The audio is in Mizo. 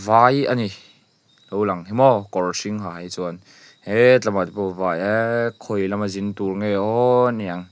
vai a ni lo lang hi maw kawr hring ha hi chuan heee tlamahte pawh vai eee khawi lama zin tûr nge awww ni ang.